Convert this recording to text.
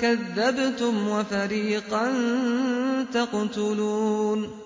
كَذَّبْتُمْ وَفَرِيقًا تَقْتُلُونَ